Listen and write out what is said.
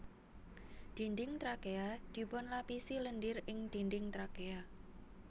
Dinding trakea dipunlapisi lendir ing dinding trakea